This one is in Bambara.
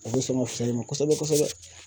O bɛ sɔn ka fisaya i ma kosɛbɛ kosɛbɛ